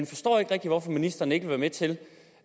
forstår ikke rigtig hvorfor ministeren ikke vil være med til